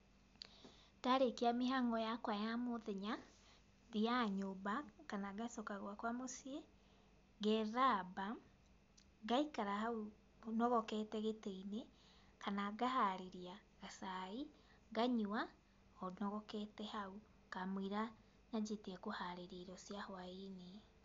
Ndarĩkia mĩhang'o yakwa ya mũthenya, thiaga nyũmba, kana ngacoka gwakwa mũciĩ, ngethamba, ngaikara hau nogokete gĩtĩ-inĩ kana ngaharĩria gacai nganyua o nogokete hau kamũira nyanjĩtie kũharĩria irio cia hwainĩ.